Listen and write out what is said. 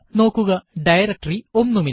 നോക്കുക ഡയറക്ടറി ഒന്നുമില്ല